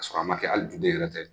K'a sɔrɔ a ma kɛ hali du den ne yɛrɛ tɛ.